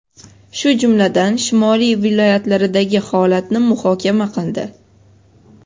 shu jumladan shimoliy viloyatlaridagi holatni muhokama qildi.